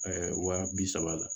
waa bi saba la